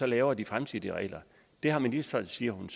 laver de fremtidige regler det har ministeren så siger hun